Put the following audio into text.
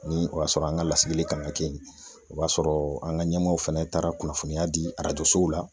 Ni o y'a sɔrɔ an ka lasigili kan ka kɛ ye o b'a sɔrɔ an ka ɲɛmaaw fana taara kunnafoniya di arajosow la.